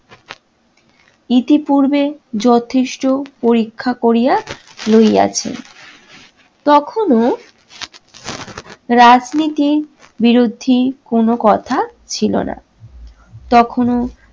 ইতিপূর্বে যথেষ্ট পরীক্ষা করিয়া লইয়াছেন। তখনো রাজনীতির বিরোধী কোন কথা ছিলোনা। তখনও